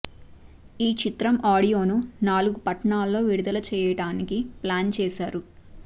ఈ చిత్రం ఆడియోను నాలుగు పట్టణాల్లో విడుదల చేయడానికి ప్లాన్ చేశారు